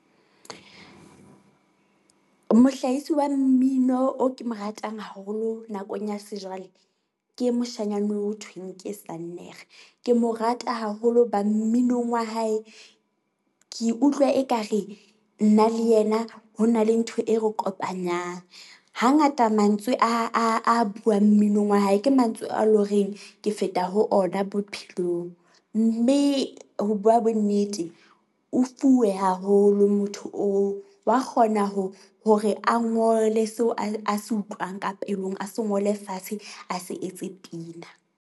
Mohlahisi wa mmino o ke mo ratang haholo nakong ya sejwale ke moshanyana ho thweng ke Sannere. Ke mo rata haholo ba mminong wa hae, ke utlwa ekare nna le yena ho na le ntho e re kopanyang. Hangata mantswe a a a buang mminong wa hae, ke mantswe a loreng ke feta ho ona bophelong. Mme ho bua bonnete, o fuwe haholo motho oo, wa kgona hore a ngole seo a a se utlwang ka pelong, a se ngole fatshe, a se etse pina.